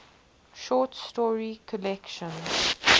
short story collection